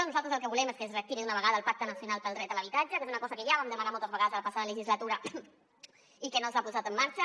nosaltres el que volem és que es reactivi d’una vegada el pacte nacional pel dret a l’habitatge que és una cosa que ja vam demanar moltes vegades a la passada legislatura i que no s’ha posat en marxa